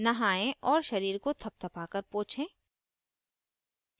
नहाएं और शरीर को थपथपाकर पोछें